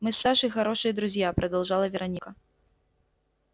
мы с сашей хорошие друзья продолжала вероника